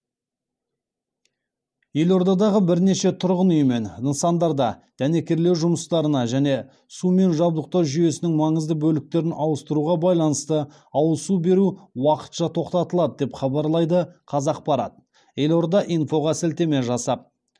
елордадағы бірнеше тұрғын үй мен нысандарда дәнекерлеу жұмыстарына және сумен жабдықтау жүйесінің маңызды бөліктерін ауыстыруға байланысты ауыз су беру уақытша тоқтатылады деп хабарлайды қазақпарат елорда инфоға сілтеме жасап